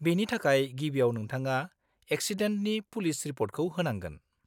-बेनि थाखाय गिबिआव नोंथाङा एक्सिडेन्टनि पुलिस रिपर्टखौ होनांगोन।